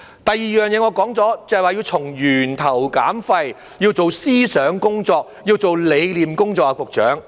另一點，我已說過，就是要從源頭減廢，要做思想工作，要做理念工作，局長。